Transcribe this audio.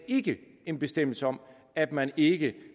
ikke en bestemmelse om at man ikke